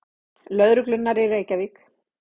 Lögreglunnar í Reykjavík.